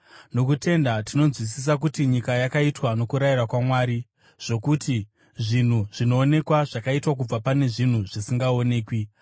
Nokutenda tinonzwisisa kuti nyika yakaitwa nokurayira kwaMwari, zvokuti zvinhu zvinoonekwa zvakaitwa kubva pane zvinhu zvisingaonekwi.